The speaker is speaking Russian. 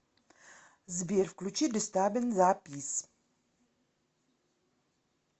сбер включи дистарбинг за пис